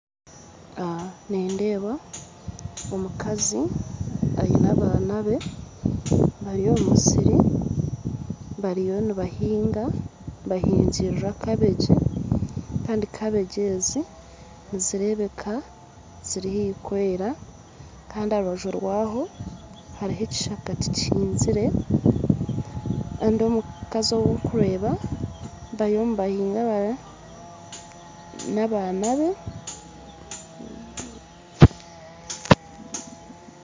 Nindeeba omukazi aine abaana be bari omu musiri bariyo nibahinga, nibahingirira kabegi kandi kabegi ezi nizireebeka ziri haihi kwera kandi aha rubaju rwazo hariho ekishaka tikihingire kandi omukazi ou orikureeba bariyo nibahinga hare n'abaana be